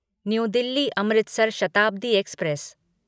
new Delhi Amritsar Shatabdi express